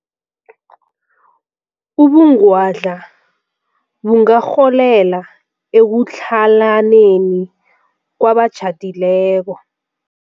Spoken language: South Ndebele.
Ubungwadla bungarholela ekutlhalaneni kwabatjhadileko.